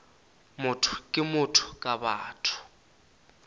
motho ke motho ka batho